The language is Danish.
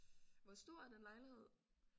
Hvor stor er den lejlighed?